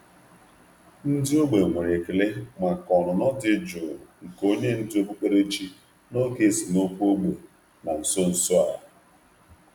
Ndị ógbè nwere Ndị ógbè nwere ekele maka um ọnụnọ dị jụụ um nke onye ndú um okpukperechi n’oge esemokwu ógbè na nso nso a.